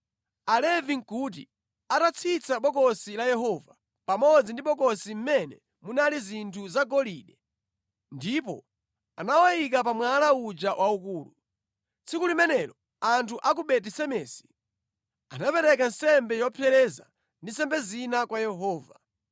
Alevi nʼkuti atatsitsa Bokosi la Yehova, pamodzi ndi bokosi mmene munali zinthu zagolide, ndipo anawayika pa mwala uja waukulu. Tsiku limenelo anthu a ku Beti-Semesi anapereka nsembe yopsereza ndi nsembe zina kwa Yehova.